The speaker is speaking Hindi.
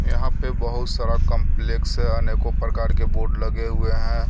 यहां पे बहुत सारा कॉम्प्लेक्स है अनेको प्रकार के बोर्ड लगे हुए हैं.